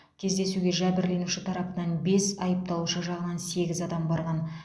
кездесуге жәбірленуші тарапынан бес айыпталушы жағынан сегіз адам барған